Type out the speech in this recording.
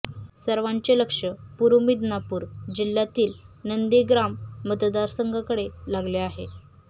सर्वांचे लक्ष पूर्व मिदनापूर जिल्ह्यातील नंदीग्राम मतदारसंघाकडे लागले आहे